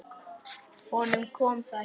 Honum kom það ekki við.